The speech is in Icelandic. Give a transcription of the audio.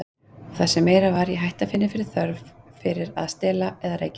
Og það sem meira var, ég hætti að finna þörf fyrir að stela eða reykja.